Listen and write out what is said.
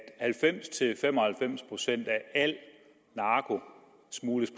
at halvfems til fem og halvfems procent af al narko smugles